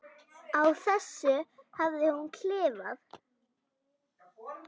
Á þessu hafði hún klifað.